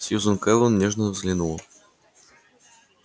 сьюзен кэлвин нежно взглянула